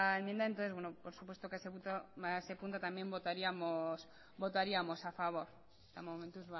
enmienda entonces bueno por supuesto que ese punto también votaríamos a favor eta momentuz ba hori